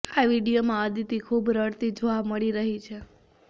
આ વીડિયોમાં અદિતિ ખૂબ રડતી જોવા મળી રહી છે